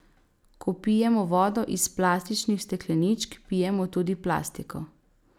Ko pijemo vodo iz plastičnih stekleničk, pijemo tudi plastiko!